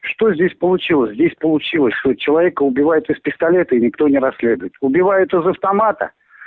что здесь получилось здесь получилось что человека убивают из пистолета и никто не расследует убивает из автомата